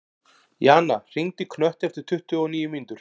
Jana, hringdu í Knött eftir tuttugu og níu mínútur.